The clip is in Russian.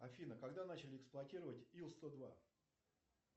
афина когда начали эксплуатировать ил сто два